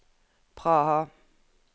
Praha